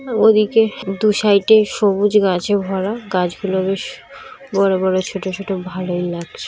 ওদিকে দু সাইড -এ সবুজ গাছে ভরা গাছগুলো বেশ বড় বড় ছোট ছোট ভালোই লাগছ--